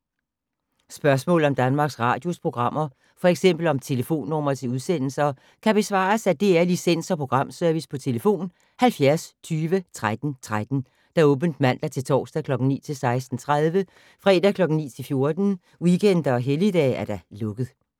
Spørgsmål om Danmarks Radios programmer, f.eks. om telefonnumre til udsendelser, kan besvares af DR Licens- og Programservice: tlf. 70 20 13 13, åbent mandag-torsdag 9.00-16.30, fredag 9.00-14.00, weekender og helligdage: lukket.